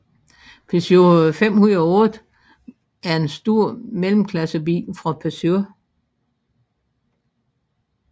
Peugeot 508 er en stor mellemklassebil fra Peugeot